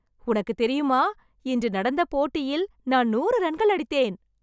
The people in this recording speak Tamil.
உனக்குத் தெரியுமா இன்று நடந்த போட்டியில் நான் நூறு ரன்கள் அடித்தேன்.